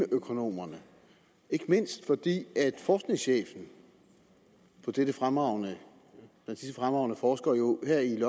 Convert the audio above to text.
økonomerne ikke mindst fordi forskningschefen for disse fremragende forskere jo her i